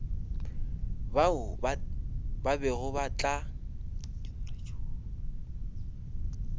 bao ba tla bego ba